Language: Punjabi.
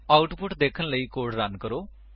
ਆਉਟਪੁਟ ਦੇਖਣ ਲਈ ਕੋਡ ਰਨ ਕਰੋ